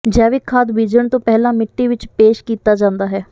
ਜੈਵਿਕ ਖਾਦ ਬੀਜਣ ਤੋਂ ਪਹਿਲਾਂ ਮਿੱਟੀ ਵਿੱਚ ਪੇਸ਼ ਕੀਤਾ ਜਾਂਦਾ ਹੈ